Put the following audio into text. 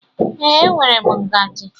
Ee, enwere m ngaji